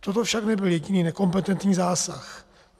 Toto však nebyl jediný nekompetentní zásah.